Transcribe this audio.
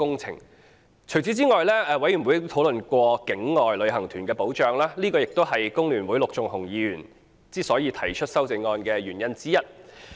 除此之外，法案委員會亦討論過境外旅行團的保障，這也是工聯會陸頌雄議員提出修正案的原因之一。